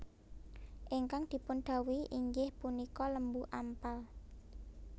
Ingkang dipundhawuhi inggiih punika Lembu Ampal